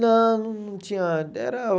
Não, não tinha. Era